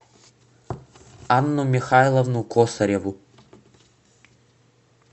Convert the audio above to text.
анну михайловну косареву